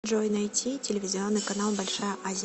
джой найти телевизионный канал большая азия